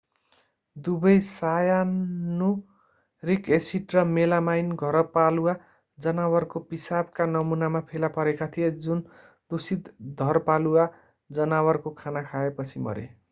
दुवै cyanuric acid र melamine घरपालुवा जनावरको पिसाबका नमूनामा फेला परेका थिए जुन दूषित धरपालुवा जनावरको खाना खाएपछि मरे